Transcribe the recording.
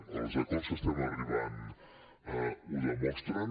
els acords a què estem arribant ho demostren